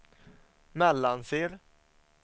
Mellansel